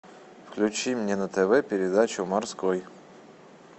включи мне на тв передачу морской